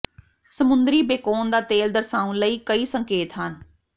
ਸਮੁੰਦਰੀ ਬੇਕੋਨ ਦਾ ਤੇਲ ਦਰਸਾਉਣ ਲਈ ਕਈ ਸੰਕੇਤ ਹਨ